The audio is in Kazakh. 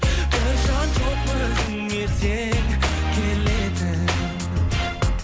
бір жан жоқ өзіңе сен келетін